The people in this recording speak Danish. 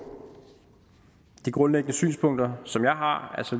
de grundlæggende synspunkter som jeg har